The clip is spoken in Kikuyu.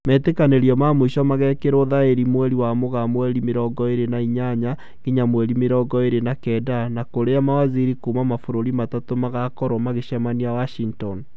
Metĩkanĩrio ma mũico magekĩrwo thaĩni mweri wa Mũgaa mweri mĩrongo ĩrĩ na inyanya ngĩnya mweri mĩrongo ĩrĩ na kenda, na kũrĩa mawaziri kuma mabũrũri matatũ magakorwo magĩcemenaia Washington